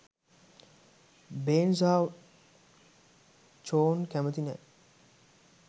බෙන් සහ චෝන් කැමති නෑ.